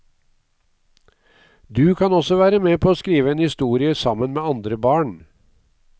Du kan også være med på å skrive en historie sammen med andre barn.